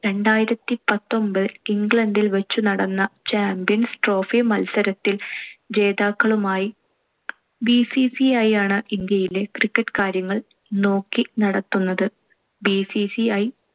രണ്ടായിരത്തിപത്തൊൻപതിൽ ഇംഗ്ലണ്ടില്‍ വച്ചു നടന്ന champions trophy മൽസരത്തിൽ ജേതാക്കളുമായി. BCCI ആണ്‌ ഇന്ത്യയിലെ cricket കാര്യങ്ങൾ നോക്കി നടത്തുന്നത്. BCCI